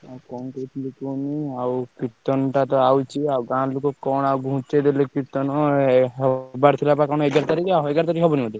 ଆଉ କଣ କହୁଥିଲି କୁହନି ଆଉ କୀର୍ତ୍ତନ ଟା ଆସୁଛି ଆଉ ଗାଁ ଲୋକ କଣ ଆଉ ଘୁଞ୍ଚେଇଦେଲେ କୀର୍ତ୍ତନ ହବାରଥିଲା ବା କଣ ଏଗାର ତାରିଖ ଆଉ ଏଗାର ତାରିଖ ହବନି କି?